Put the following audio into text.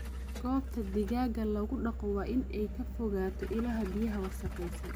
Goobta digaaga lagu dhaqo waa in ay ka fogaato ilaha biyaha wasakhaysan.